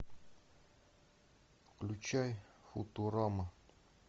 включай футурама